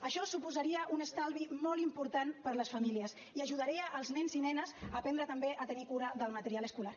això suposaria un estalvi molt important per a les famílies i ajudaria els nens i nenes a aprendre també a tenir cura del material escolar